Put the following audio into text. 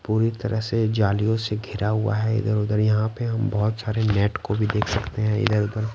पूरी तरह से जालियों से घिरा हुआ है इधर-उधर यहां पे हम बहुत सारे नेट को भी देख सकते हैं इधर-उधर।